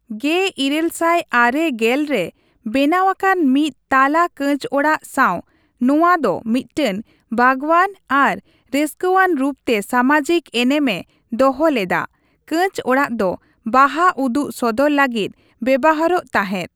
᱑᱘᱙᱐ ᱨᱮ ᱵᱮᱱᱟᱣ ᱟᱠᱟᱱ ᱢᱤᱫ ᱛᱟᱞᱟ ᱠᱟᱸᱪ ᱚᱲᱟᱜ ᱥᱟᱣ ᱱᱚᱣᱟ ᱫᱚ ᱢᱤᱫᱴᱟᱝ ᱵᱟᱜᱽᱣᱟᱱ ᱟᱨ ᱨᱟᱹᱥᱠᱟᱹᱣᱟᱱ ᱨᱩᱯᱛᱮ ᱥᱟᱢᱟᱡᱤᱠ ᱮᱱᱮᱢᱮ ᱫᱚᱦᱚ ᱞᱮᱫᱟ, ᱠᱟᱸᱪ ᱚᱲᱟᱜ ᱫᱚ ᱵᱟᱦᱟ ᱩᱫᱩᱜ ᱥᱚᱫᱚᱨ ᱞᱟᱹᱜᱤᱫ ᱵᱮᱣᱦᱟᱨᱚᱜ ᱛᱟᱦᱮᱸᱫ ᱾